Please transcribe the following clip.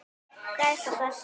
Gæs og gassi.